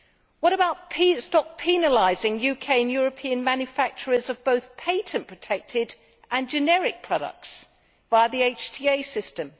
What about stopping penalising UK and European manufacturers of both patent protected and generic products via the HTA system?